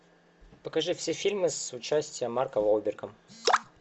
покажи все фильмы с участием марка уолберга